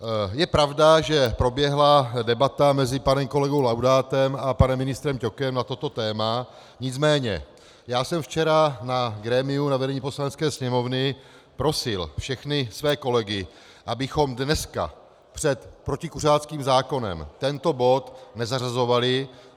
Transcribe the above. Je pravda, že proběhla debata mezi panem kolegou Laudátem a panem ministrem Ťokem na toto téma, nicméně já jsem včera na grémiu, na vedení Poslanecké sněmovny, prosil všechny své kolegy, abychom dneska před protikuřáckým zákonem tento bod nezařazovali.